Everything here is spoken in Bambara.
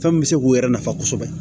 Fɛn min bɛ se k'u yɛrɛ nafa kosɛbɛ